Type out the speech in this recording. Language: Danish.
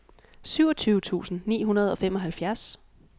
syvogtyve tusind ni hundrede og femoghalvfjerds